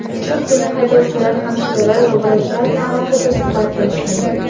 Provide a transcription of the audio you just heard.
Shu kuni haydovchilar, hamshiralar va vrachlar bilan alohida suhbatlashdim.